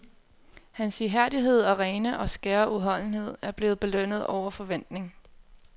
Hans ihærdighed og rene og skære udholdenhed er blevet belønnet over forventning.